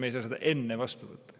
Me ei saa seda enne vastu võtta.